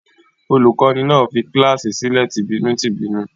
Olùkọ́ní náà fi kíláàsì sílẹ̀ tìbínú-tìbínú?